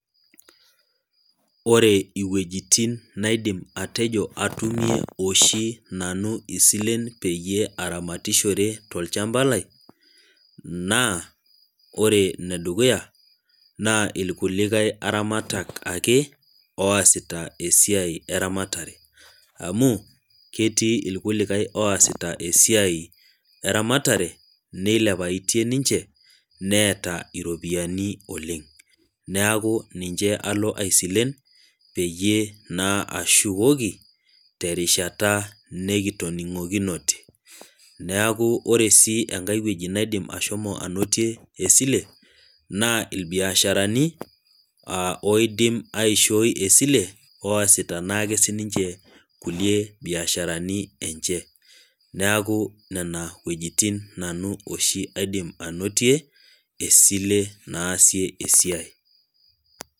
ore iwuejitin naidim atejo atumie oshi nanu isilen peyie aramatishore tolchampa lai, naa ore ene dukuya naa irkulikae aramatak ake oosita esiai, eramatare. amu ketii irkulikae oosita esiai eramatare, neilepaitie ninche neeta ropiyiani oleng. neeku ninche alo aisilen peyie naa ashukoki terishata nikitoning'okinote. neeku ore sii enkae wueji naidim ashomo anotie esile, naa ilbiasharani, aa oisim aishooi esile oosita naake sii nnche kulie biasharani enche. neeku nena wuejitin oshi aidim anotie, esile naasie esiai.